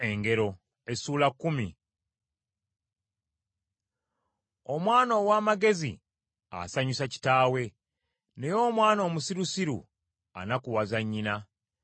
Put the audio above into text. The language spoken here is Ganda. Engero za Sulemaani: Omwana ow’amagezi asanyusa kitaawe; naye omwana omusirusiru anakuwaza nnyina.